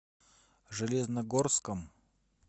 железногорском